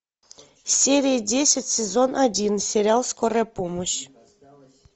серия десять сезон один сериал скорая помощь